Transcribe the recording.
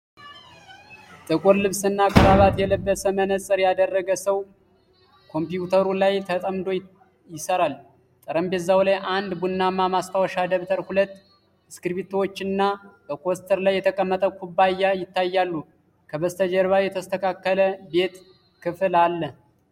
ጥቁር ልብስና ክራባት የለበሰ መነጽር ያደረገ ሰው ኮምፒውተሩ ላይ ተጠምዶ ይሠራል። ጠረጴዛው ላይ አንድ ቡናማ ማስታወሻ ደብተር፣ ሁለት እስክሪብቶዎች እና በኮስተር ላይ የተቀመጠ ኩባያ ይታያሉ። ከበስተጀርባ የተስተካከለ ቤት ክፍል አለ።